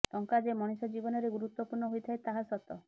ଟଙ୍କା ଯେ ମଣିଷ ଜୀବନରେ ଗୁରୁତ୍ବପୂର୍ଣ୍ଣ ହୋଇଥାଏ ତାହା ସତ